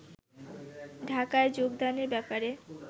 ঢাকায় যোগদানের ব্যাপারে